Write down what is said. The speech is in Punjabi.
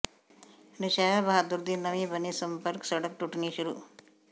ਨੌਸ਼ਹਿਰਾ ਬਹਾਦਰ ਦੀ ਨਵੀਂ ਬਣੀ ਸੰਪਰਕ ਸੜਕ ਟੁੱਟਣੀ ਸ਼ੁਰੂ